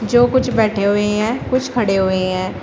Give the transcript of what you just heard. जो कुछ बैठे हुए हैं कुछ खड़े हुए हैं।